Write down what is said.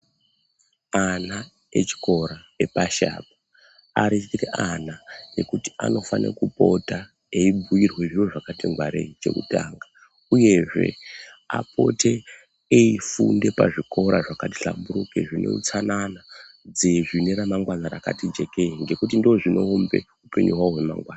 Ana echikora epashi apo ariite ana ekuti anofana kupota eyibhuirwe zviro zvakati ngwarei chekutanga. Uyezve apote eyifunde pazvikora zvakahlamburike zvineutsanana zvine ramangwana rakati jekeyi ngekuti ndozvinoumbe hupenyu hwawo hwemangwana.